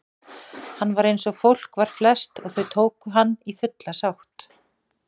Hann var einsog fólk var flest og þau tóku hann í fulla sátt.